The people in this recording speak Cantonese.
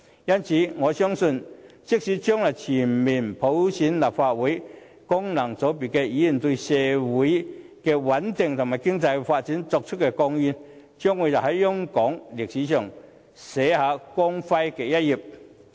因此，我相信，即使將來全面普選立法會，但功能界別議員對社會的穩定和經濟發展所作出的貢獻，將會在香港歷史上寫下光輝的一頁。